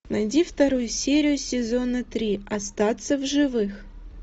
найди вторую серию сезона три остаться в живых